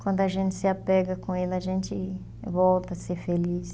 Quando a gente se apega com ele, a gente volta a ser feliz.